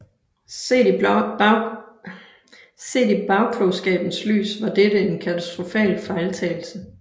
Set i bagklogskabens lys var dette en katastrofal fejltagelse